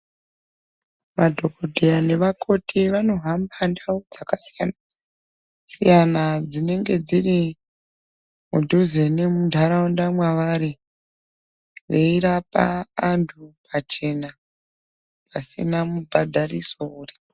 Vadhogodheya nevakoti vanohamba ndau dzakasiyana-siyana dzinenge dzirimudhuze nemuntaraunda mwavari, veirapa antu pachena, pasina mubhadhariso uripo.